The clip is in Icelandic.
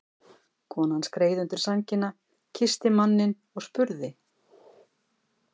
Konan skreið undir sængina, kyssti manninn og spurði